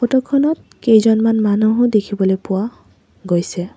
Photo খনত কেইজনমান মানুহো দেখিবলৈ পোৱা গৈছে।